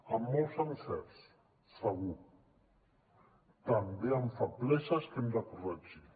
amb molts encerts segur també amb febleses que hem de corregir